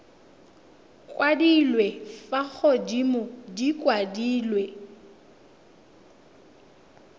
kwadilwe fa godimo di kwadilwe